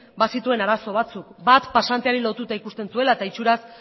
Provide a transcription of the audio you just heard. bazituen arazo batzuk bat pasanteari lotuta ikusten zuela eta itxuraz